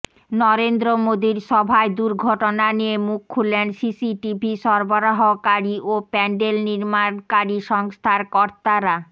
নরেন্দ্র মোদীর সভায় দুর্ঘটনা নিয়ে মুখ খুললেন সিসিটিভি সরবরাহকারী ও প্যাণ্ডেল নির্মাণকারী সংস্থার কর্তারা